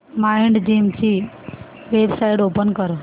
Mindgym ची website open कर